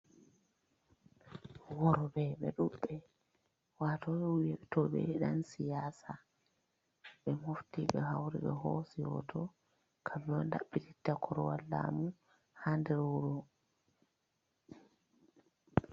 Worɓe be ɗuɗɓe, wato wiyotoɓe ni dan siyasa. Ɓe mofti, ɓe hauri, ɓe hoosi hoto. Kamɓe on daɓɓititta korwal laamu ha nder wuro.